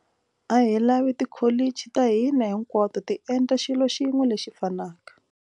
A hi lavi tikholichi ta hina hinkwato ti endla xilo xin'we lexi fanaka.